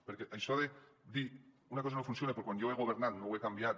perquè això de dir una cosa no funciona però quan jo he governat no ho he canviat